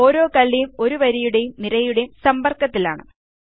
ഓരോ കള്ളിയും ഒരു വരിയുടെയും നിരയുടേയും സമ്പർക്കത്തിലാണ്